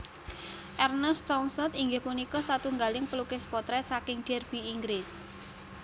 Ernest Townsend inggih punika satunggaling pelukis potrèt saking Derby Inggris